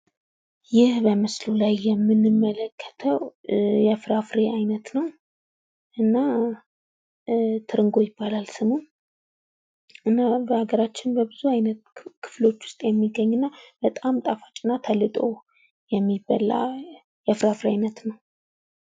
ይህ በምስሉ ላይ የመንመለከተው የፍራፍሬ አይነት ነው። እና ኧ ትርንጎ ይባላል ስሙ። እና በሀገራችን በብዙ አይነት ክፍሎች ውስጥ የሚገኝና በጣም ጣፋጭና ተልጦ የሚበላ የፍራፍሬ አይነት ነው።